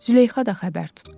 Züleyxa da xəbər tutdu.